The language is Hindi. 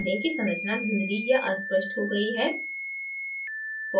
ध्यान दें कि संरचना धुंधली या अस्पष्ट हो गयी है